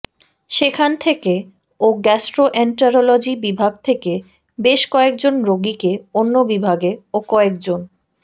সেখান থেকে ও গ্যাস্ট্রোএন্টেরোলজি বিভাগ থেকে বেশ কয়েক জন রোগীকে অন্য বিভাগে ও কয়েক জন